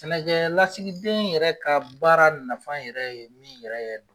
Sɛnɛ kɛ lasigiden yɛrɛ ka baara nafan yɛrɛ ye min yɛrɛ ye don.